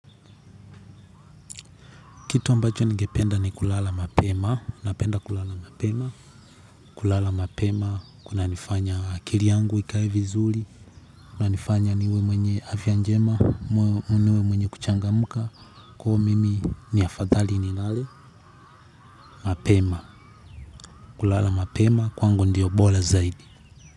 Kitu ambacho nigependa ni kulala mapema, kulala mapema, kuna nifanya akili yangu ikae vizuli, kuna nifanya niwe mwenye afya njema, mwenye kuchangamuka, kuhu mimi ni afadhali nilale, mapema, kulala mapema, kwangu ndiyo bola zaidi.